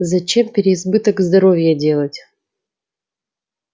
зачем переизбыток здоровья делать